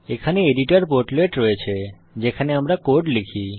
এখানে editor portlet রয়েছে যেখানে আমরা কোড লিখি